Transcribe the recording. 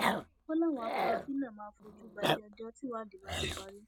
ó láwọn afurasí náà máa fojú balẹẹjọ tìwádìí bá ti parí